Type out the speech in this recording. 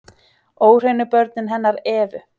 Óhreinu börnin hennar Evu